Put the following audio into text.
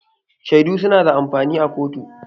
Shaidu su na da amfani a kotu